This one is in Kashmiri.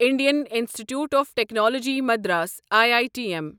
Indian Institute of Technology Madras I I T M